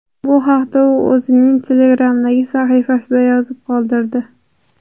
Bu haqda u o‘zining Telegram’dagi sahifasida yozib qoldirdi .